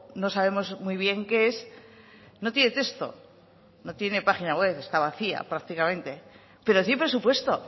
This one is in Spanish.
no sabemos muy bien qué es no tiene texto no tiene página web está vacía prácticamente pero sí presupuesto